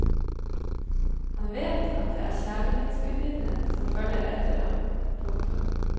Han vet at det er kjærlighetsgudinnen som følger etter ham. punktum